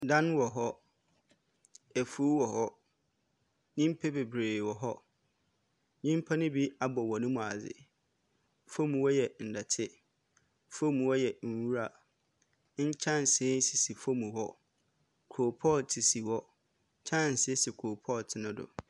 Dan wɔ hɔ, efuw wɔ hɔ, nyimpa beberee wɔ hɔ. Nyimpa ne bi abɔ hɔn mu adze, famu hɔ yɛ dɛtse, famu yɛ nwura, nkyɛnse sisi famu hɔ, koropɔɔtse si hɔ, kyɛnse si koropɔɔtse no do.